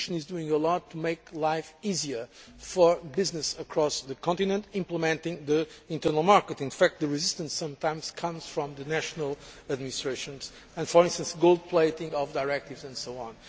So the Commission is doing a lot to make life easier for businesses across the continent, implementing the internal market. In fact the resistance sometimes comes from the national administrations with, for instance, gold plating of directives and so on.